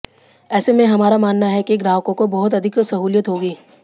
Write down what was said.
ऐसे में हमारा मानना है कि ग्राहकों को बहुत अधिक सहूलियत होगी